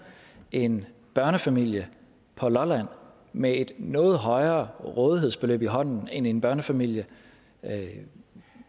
en børnefamilie på lolland med et noget højere rådighedsbeløb i hånden end en børnefamilie